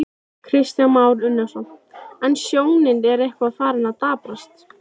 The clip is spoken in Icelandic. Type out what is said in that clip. Þegar best lét urðu áskrifendur ríflega